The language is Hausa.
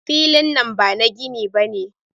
Filin nan bana gini bane.